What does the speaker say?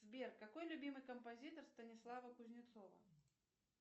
сбер какой любимый композитор станислава кузнецова